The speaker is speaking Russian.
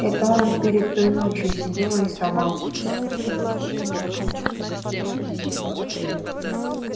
это он перед той ночью сидел рисовал